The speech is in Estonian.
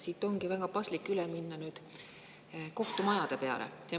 Siit ongi väga paslik üle minna nüüd kohtumajade peale.